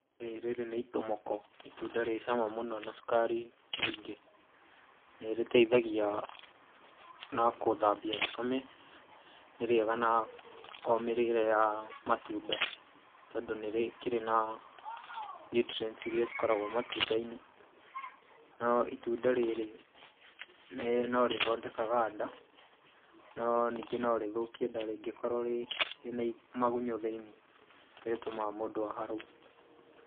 Ĩĩ rĩrĩ nĩ itomoko, itunda rĩ cama mũno na cukari mũingĩ, nĩrĩteithagia ,na kũthambia thakame nĩrĩega na omĩrĩre ya matunda tondũ nĩrikĩrĩ na nutrients irĩa cikoragwo matundainĩ nayo itunda rĩrĩ norĩthondekaga nda, no ningĩ norĩthũkie nda rĩngĩkorwa rĩna magunyũ thĩinĩ nĩrĩtũmaga mũndũ aharwo.